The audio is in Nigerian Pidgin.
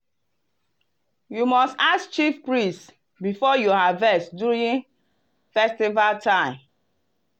you must ask chief priest before you harvest during festival time.